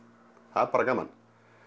það er bara gaman